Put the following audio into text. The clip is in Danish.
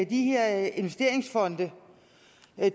de her investeringsfonde